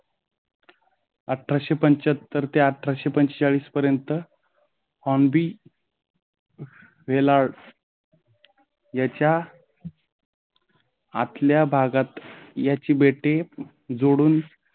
अठराशे पंचाहत्तर ते अठरा पंचेचाळीस पर्यंत हॉर्न बी वेलाड याच्या आपल्या भागात याची बेटी जोडून